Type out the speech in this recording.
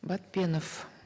батпенов